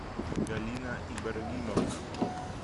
галина ибрагимовна